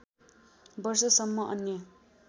वर्षसम्म अन्य